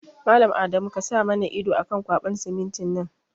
Mallam Adamu kasa mana ido akan ƙwaɓan simintin nan